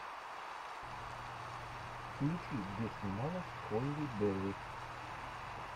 включи где снималась холли берри